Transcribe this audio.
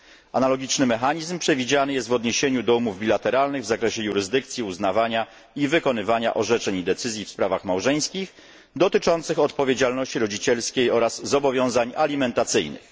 Analogiczny mechanizm przewidziany jest w odniesieniu do umów bilateralnych w zakresie jurysdykcji, uznawania i wykonywania orzeczeń i decyzji w sprawach małżeńskich, dotyczących odpowiedzialności rodzicielskiej oraz zobowiązań alimentacyjnych.